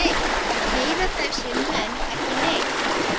Heyra þessir menn ekki neitt?